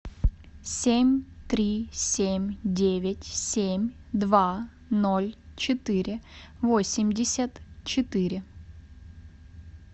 семь три семь девять семь два ноль четыре восемьдесят четыре